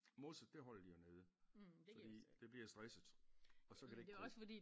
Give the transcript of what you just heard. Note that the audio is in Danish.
Mosset det holder de jo nede fordi det bliver stresset og så kan det ikke gro